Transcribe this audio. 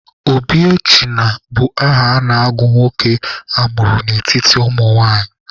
Obiechina bụ aha a na-agụ nwa nwoke a mụrụ n'etiti ụmụnwaanyị.